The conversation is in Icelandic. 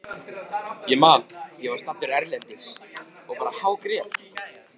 Ég man að ég var staddur erlendis og bara hágrét.